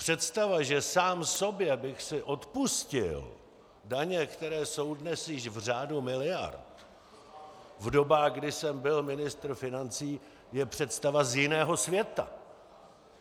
Představa, že sám sobě bych si odpustil daně, které jsou dnes již v řádu miliard, v dobách, kdy jsem byl ministr financí, je představa z jiného světa.